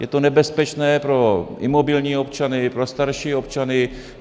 Je to nebezpečné pro imobilní občany, pro starší občany.